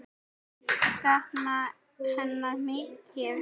Ég sakna hennar mikið.